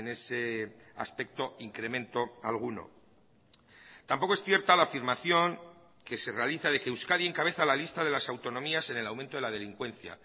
ese aspecto incremento alguno tampoco es cierta la afirmación que se realiza de que euskadi encabeza la lista de las autonomías en el aumento de la delincuencia